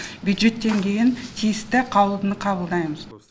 бюджеттен кейін тиісті қаулыны қабылдаймыз